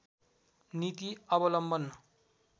नीति अवलम्वन